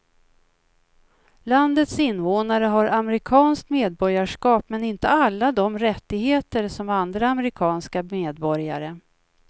Landets invånare har amerikanskt medborgarskap men inte alla de rättigheter som andra amerikanska medborgare.